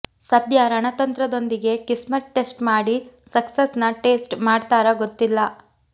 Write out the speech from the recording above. ಸದ್ಯ ರಣತಂತ್ರದೊಂದಿಗೆ ಕಿಸ್ಮತ್ ಟೆಸ್ಟ್ ಮಾಡಿ ಸಕ್ಸಸ್ ನ ಟೇಸ್ಟ್ ಮಾಡ್ತಾರಾ ಗೊತ್ತಿಲ್ಲ